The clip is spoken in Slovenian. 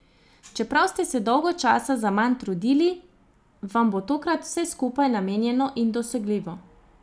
Čeprav ste se dolgo časa zaman trudili, vam bo tokrat vse skupaj namenjeno in dosegljivo.